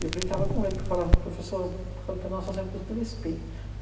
E eu brincava com ele, que falava assim, professor, quando penal só serve para os três P.